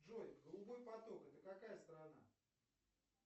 джой голубой поток это какая страна